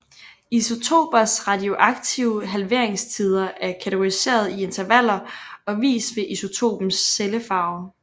Isotopers radioaktive halveringstider er kategoriseret i intervaller og vist ved isotopens cellefarve